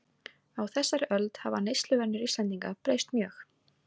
Á þessari öld hafa neysluvenjur Íslendinga breyst mjög.